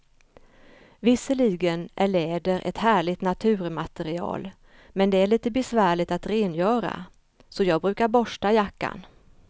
Visserligen är läder ett härligt naturmaterial, men det är lite besvärligt att rengöra, så jag brukar borsta jackan.